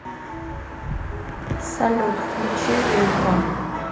салют включи вилко